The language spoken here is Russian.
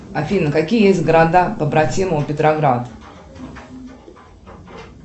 афина какие есть города побратимы у петроград